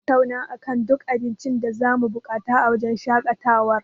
Mun tattauna akan duk abincin da zamu buƙata a wajen shaƙatawar.